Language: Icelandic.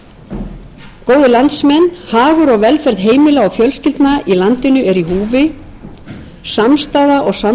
landsmenn hagur og velferð heimila og fjölskyldna í landinu er í húfi samstaða og samstarf er nauðsynlegt ég bind vonir við að